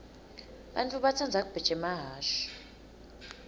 bantfu batsandza kubheja emahhashi